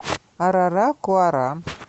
араракуара